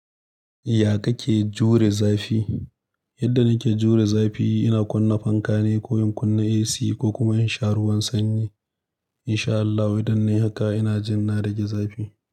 Ya ka ke jure zafi? Yadda na ke jure zafi, ina kunna fanka ne ko in kunna AC ko kuma in sha ruwan sanyi. In sha Allahu, idan nai haka ina jin na rage zafi.